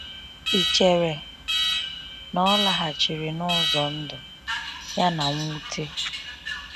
Ị chere na ọ laghachiri n’ụzọ ndụ ya na mnwute?